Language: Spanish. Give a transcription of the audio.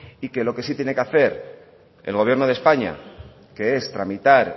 y que lo que sí tiene que hacer el gobierno de españa que es tramitar